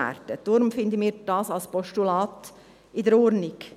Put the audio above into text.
Deshalb finden wir dies als Postulat in Ordnung.